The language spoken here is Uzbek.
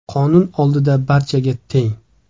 Qonun oldida barcha teng.